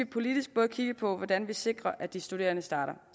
politisk både kigge på hvordan vi sikrer at de studerende starter